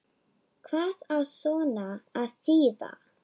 Hvað á svona að þýða